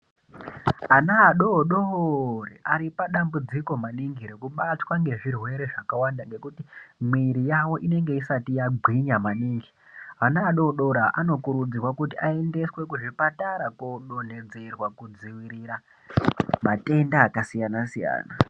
Ana adori-dori aripadambudziko maningi rekubatwa ngezvirwere zvakawanda ngekuti mwiri yavo inenge isati yagwinya maningi. Vana vadori-dori ava vanokurudzirwa kuti vaendeswe kuzvipatara koodonhedzerwa, kudzivirira matenda akasiyana-siyana.